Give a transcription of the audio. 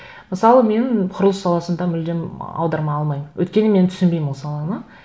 мысалы мен құрылыс саласында мүлдем аударма алмаймын өйткені мен түсінбеймін ол саланы